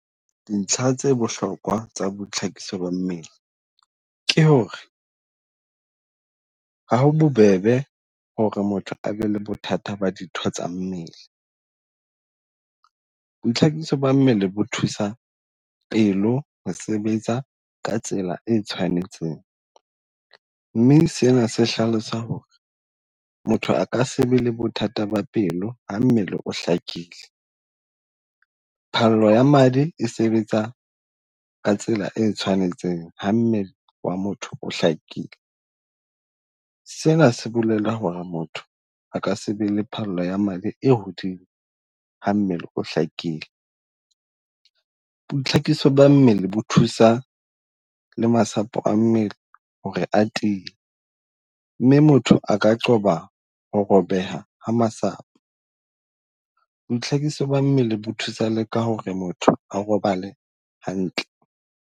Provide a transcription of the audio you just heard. Dintlha tse bohlokwa tsa boithlakiso ba mmele ke hore ha ho bobebe hore motho a be le bothata ba ditho tsa mmele. Boithlakiso ba mmele bo thusa pelo ho sebetsa ka tsela e tshwanetseng. Mme sena se hlalosa hore motho a ka se be le bothata ba pelo ha mmele o hlakileng. Phallo ya madi e sebetsa ka tsela e tshwanetseng ho mmele wa motho o hlakile. Sena se bolela hore motho a ka sebe le phallo ya madi e hodimo ha mmele o hlakile. Boitlhakiso ba mmele bo thusa le masapo a mmele hore a tiee mme motho a ka qoba ho robeha ha masapo. Boitlhakiso ba mmele bo thusa le ka hore motho a robale hantle.